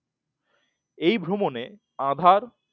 এই ভ্রমণে আধার